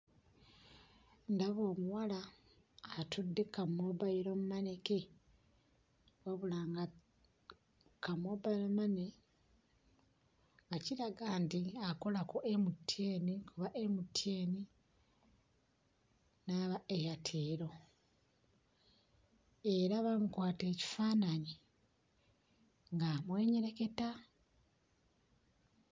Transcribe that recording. Ndaba omuwala atudde ku kammoobayirommane ke wabula nga kammoobayirommane nga kiraga nti akola ku MTN aba MTN n'aba Airtel era baamukwata ekifaananyi ng'amwenyereketa.